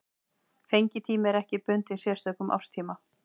Fengitími er ekki bundinn sérstökum árstíma.